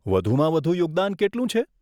વધુમાં વધુ યોગદાન કેટલું છે?